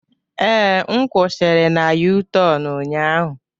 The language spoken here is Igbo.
Ee, m kwushiri na U-tornu ụnyaahụ.